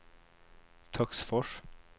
Töcksfors